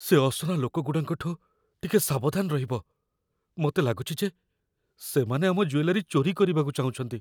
ସେ ଅସନା ଲୋକଗୁଡ଼ାଙ୍କଠୁ ଟିକେ ସାବଧାନ ରହିବ । ମତେ ଲାଗୁଚି ଯେ ସେମାନେ ଆମ ଜୁଏଲାରୀ ଚୋରି କରିବାକୁ ଚାହୁଁଛନ୍ତି ।